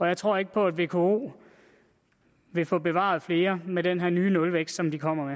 jeg tror ikke på at vko vil få bevaret flere med den her nye nulvækst som de kommer